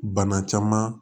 Bana caman